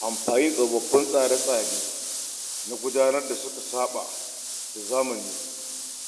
Amfani da tsofaffin tsare-tsaren gudanarwa da suka saɓa da zamani